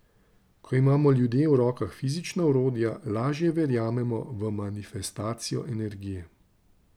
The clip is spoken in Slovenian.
Ko imamo ljudje v rokah fizična orodja, lažje verjamemo v manifestacijo energije.